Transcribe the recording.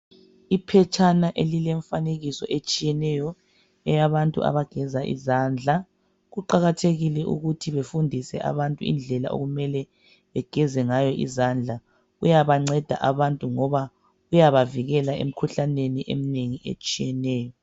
Iphetshana elilemfanekiso etshiyeneyo eyabantu abageza izandla. Kuqakathekile ukuthi befundise abantu indlela okumele begeze ngayo izandla. Kuyabanceda abantu ngoba kuyabavikela emikhuhlaneni eminengi etshiyeneyo.